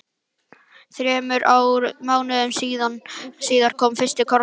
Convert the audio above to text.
Þremur mánuðum síðar kom fyrsti kossinn.